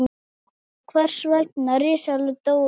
er vitað hvers vegna risaeðlur dóu út